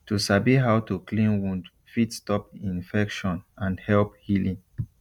to sabi how to clean wound fit stop infection and help healing